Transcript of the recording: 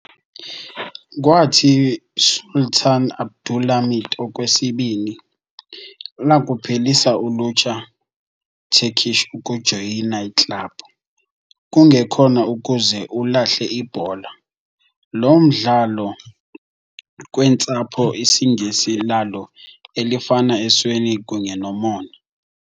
Kwathi, Sultan Abdulhamit Okwesibini, lakuphelisa ulutsha Turkish ukujoyina club, kungekhona ukuze ulahle ibhola, loo mdlalo kweentsapho IsiNgesi lalo elifana esweni kunye nomona.